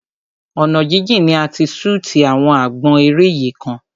Ọ̀nà jíjìn ni a ti ṣútì àwọn àgbọn eré yìí kan.